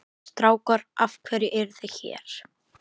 Strákar af hverju eruð þið hér?